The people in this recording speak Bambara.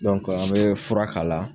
Dɔnke an be fura k'a la